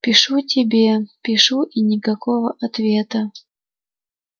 пишу тебе пишу и никакого ответа